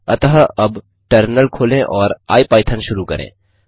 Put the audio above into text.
अतः अब टर्मिनल खोलें और आईपाइथन शुरू करें